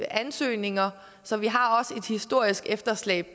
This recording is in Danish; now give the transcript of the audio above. ansøgninger så vi har også et historisk efterslæb